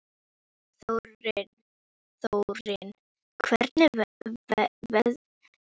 Þórinn, hvernig verður veðrið á morgun?